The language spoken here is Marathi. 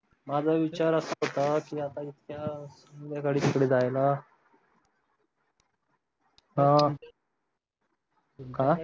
माझा विचार असा होता की आता इतक्या संध्याकाळी तिकडे जायला अह काय